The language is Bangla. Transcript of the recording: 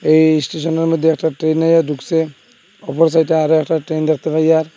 এই ইস্টেশনের মধ্যে একটা ট্রেন আইয়া ঢুকসে অপর সাইডে আরো একটা ট্রেন দেখতে পাইআর।